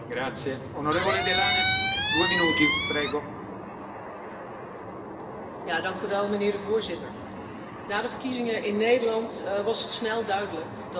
Voorzitter, na de verkiezingen in Nederland was het snel duidelijk dat het constructieve midden verantwoordelijkheid zal moeten nemen, willen we ervoor zorgen dat dit Europa blijft functioneren.